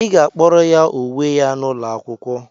Ị ga-akpọrọ ya uwe ya n'ụlọ akwụkwọ!